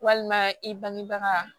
Walima i bangebaga